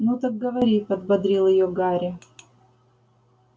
ну так говори подбодрил её гарри